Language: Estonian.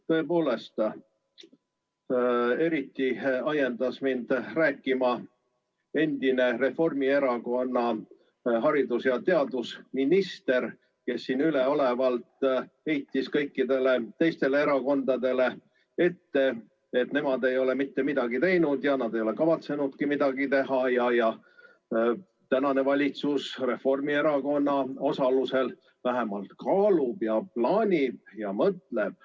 Tõepoolest, eriti ajendas mind rääkima endine Reformierakonna haridus- ja teadusminister, kes siin üleolevalt heitis kõikidele teistele erakondadele ette, et nemad ei ole mitte midagi teinud ja nad ei ole kavatsenudki midagi teha, tänane valitsus Reformierakonna osalusel vähemalt kaalub ja plaanib ja mõtleb.